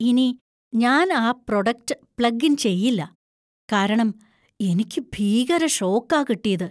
ഇനി ഞാൻ ആ പ്രൊഡക്റ്റ് പ്ലഗ് ഇൻ ചെയ്യില്ല, കാരണം എനിക്ക് ഭീകര ഷോക്കാ കിട്ടീത്.